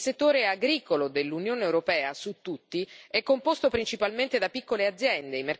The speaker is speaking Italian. Il settore agricolo dell'Unione europea, su tutti, è composto principalmente da piccole aziende.